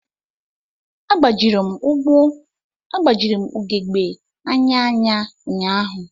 Agbajiri m ugogbe anya anya ụnyahụ.